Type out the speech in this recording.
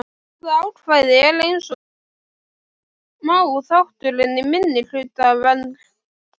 Þetta ákvæði er eins og sjá má þáttur í minnihlutavernd.